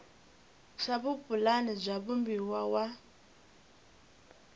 swa vupulani bya vumbano wa